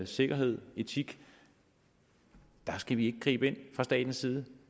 sikkerhed etik der skal vi ikke gribe ind fra statens side